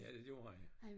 Ja det gjorde han